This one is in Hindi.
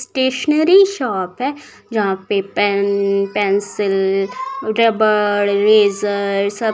स्टेशनरी शॉप है। जहाँ पे पेन पेन्सिल रबर इरेज़र सब--